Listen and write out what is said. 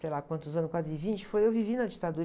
sei lá quantos anos, quase vinte, foi, eu vivi na ditadura.